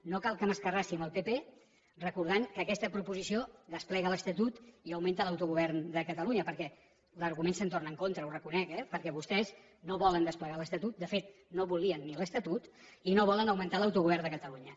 no cal que m’escarrassi amb el pp recordant que aquesta proposició desplega l’estatut i augmenta l’autogovern de catalunya perquè l’argument se’m torna en contra ho reconec eh perquè vostès no volen desplegar l’estatut de fet no volien ni l’estatut i no volen augmentar l’autogovern de catalunya